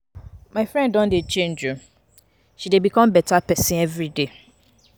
My friend don dey change o, she dey become beta pesin everyday.